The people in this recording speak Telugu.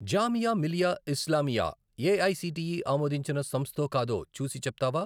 జామియా మిలియా ఇస్లామియా ఏఐసిటిఈ ఆమోదించిన సంస్థో కాదో చూసి చెప్తావా?